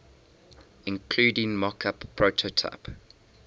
including mockup prototype